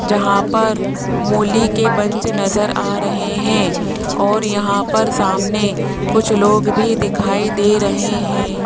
जहां पर मूली के बंच नजर आ रहे हैं और यहां पर सामने कुछ लोग भी दिखाई दे रहे हैं।